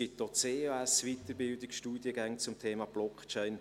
Es gibt auch CAS-Weiterbildungsstudiengänge zum Thema Blockchain.